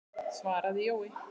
svaraði Jói.